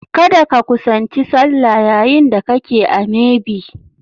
Kada ka kusanci sallah yayin da kake a maybe!